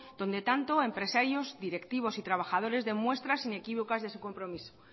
donde tanto empresarios directivos y trabajadores den muestras inequívocas de su compromiso